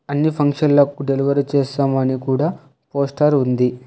అన్ని ఫంక్షన్ లకు డెలివరీ చేస్తాము అని కూడా పోస్టార్ ఉంది.